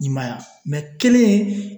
I m'a ye mɛ kelen in